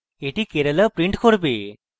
এটি kerala print করবে